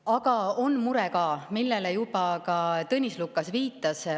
Aga on ka mure, millele Tõnis Lukas juba viitas.